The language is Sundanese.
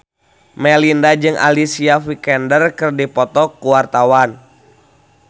Melinda jeung Alicia Vikander keur dipoto ku wartawan